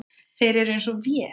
Þeir eru eins og vél.